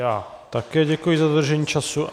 Já také děkuji za dodržení času.